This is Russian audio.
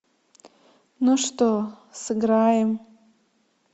ну что сыграем